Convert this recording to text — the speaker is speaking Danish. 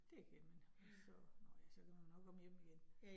Det kan man. Og så nåh ja, så kan man jo nok komme hjem igen